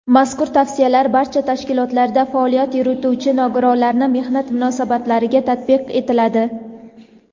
Mazkur Tavsiyalar barcha tashkilotlarda faoliyat yurituvchi nogironlarning mehnat munosabatlariga tatbiq etiladi.